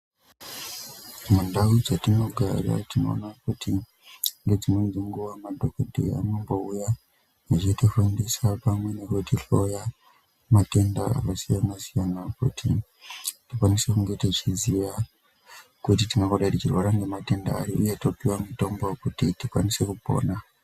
Mundau dzatinogara tinoona kuti ngedzimweni nguwa madhokodheya anombouya vachitifundisa pamwe nekutihloya matenda akasiyana siyana, kuti tikwanise kunge techiziya kuti tingangodai tichirwara ngematenda ari uye kuti topuwa mitombo wokutii tikwanise kupona.